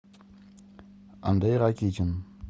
андрей ракитин